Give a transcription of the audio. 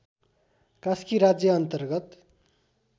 कास्की राज्य अन्तर्गत